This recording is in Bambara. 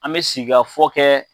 An bɛ sigikafɔ kɛ